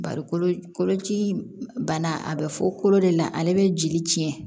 Bari koloci bana a bɛ fɔ kolo de la ale bɛ jeli cɛn